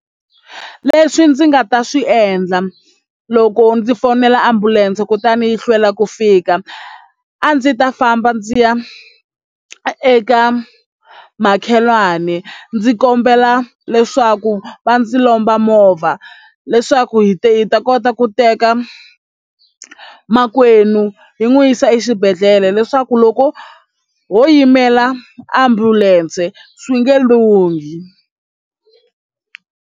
Leswi ndzi nga ta swi endla loko ndzi fonela ambulense kutani yi hlwela ku fika a ndzi ta famba ndzi ya eka makhelwani ndzi kombela leswaku va ndzi lomba movha leswaku hi ta kota ku teka makwenu hi n'wi yisa exibedhlele leswaku loko ho yimela ambulense swi nge lunghi.